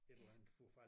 Et eller andet for at få